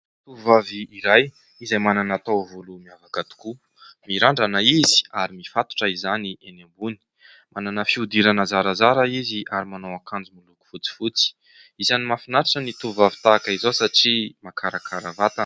Tovovavy iray izay manana taovolo miavaka tokoa : mirandrana izy ary mifatotra izany eny ambony. Manana fihodirana zarazara izy ary manao akanjo miloko fotsifotsy. Isany mahafinaritra ny tovovavy tahaka izao satria mahakarakara vatana.